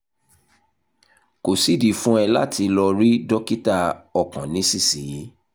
kò sídìí fún ẹ láti lọ rí dókítà ọkàn nísinsìnyí